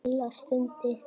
Lilla stundi.